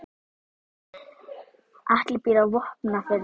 Atli býr á Vopnafirði.